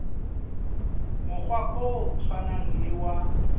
mokgwa o tshwanang le wa